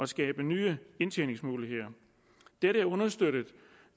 skabe nye indtjeningsmuligheder dette er understøttet